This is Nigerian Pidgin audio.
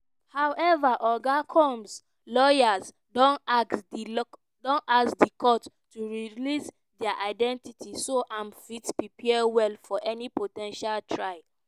however oga combs lawyers don ask di courts to release dia identities so im fit prepare well for any po ten tial trial.